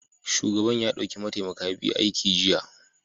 Shugaban ya dauki mataimaka biyu aiki jiya